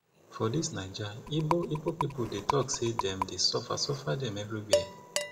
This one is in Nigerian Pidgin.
for dis naija ibo ibo pipu talk sey dem dey suffer suffer dem everywhere